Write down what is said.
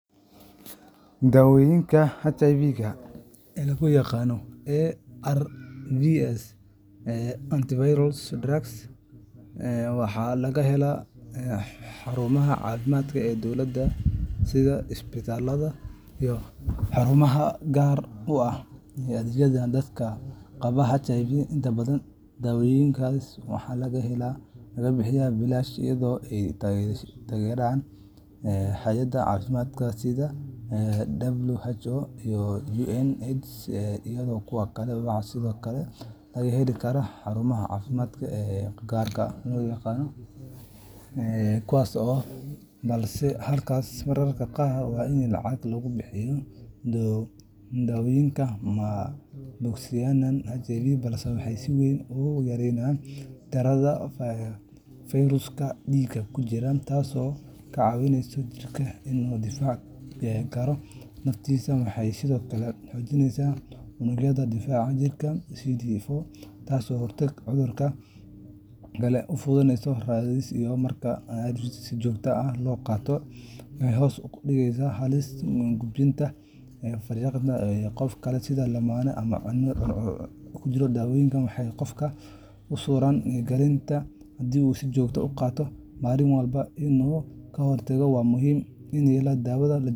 Daawooyinka HIV-ga ee loo yaqaan ARVs Antiretroviral Drugs waxaa laga helaa xarumaha caafimaadka ee dowladda sida isbitaallada iyo xarumaha gaar ah oo u adeegaya dadka qaba HIV. Inta badan daawooyinkaas waxaa lagu bixiyaa bilaash iyadoo ay taageeraan hay’adaha caafimaadka sida WHO, UNAIDS, iyo kuwa kale. Waxaa sidoo kale laga heli karaa xarumaha caafimaadka ee gaarka loo leeyahay, balse halkaas mararka qaar waa in lacag lagu bixiyaa. Daawooyinkani ma bogsiinayaan HIVga, balse waxay si weyn u yareeyaan tirada fayraska dhiigga ku jira, taasoo ka caawisa jirka inuu difaaci karo naftiisa. Waxay sidoo kale xoojiyaan unugyada difaaca jirka CD4, taasoo ka hortagta cudurro kale oo fursad-raadis ah. Marka ARVska si joogto ah loo qaato, waxay hoos u dhigaan halista gudbinta fayraska qof kale, sida lamaane ama ilmo uur ku jira. Dawooyinkani waxay qofka u suura geliyaan inuu helo nolol caadi ah oo caafimaad leh haddii uu si joogto ah u qaato, maalin walba oo aan kala go’ lahayn. Waa muhiim in aan daawada .